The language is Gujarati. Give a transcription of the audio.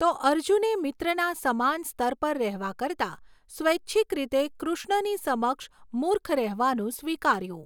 તો અર્જુને મિત્રના સમાન સ્તર પર રહેવા કરતાં સ્વૈછિક રીતે કૃષ્ણની સમક્ષ મૂર્ખ રહેવાનુ સ્વીકાર્યું.